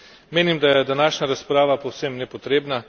Menim, da je današnja razprava povsem nepotrebna.